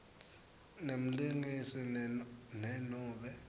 nemlingisi ne nobe